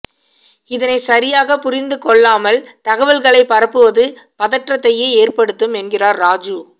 இதனை சரியாகப் புரிந்துகொள்ளாமல் தகவல்களைப் பரப்புவது பதற்றத்தையே ஏற்படுத்தும் என்கிறார் ராஜு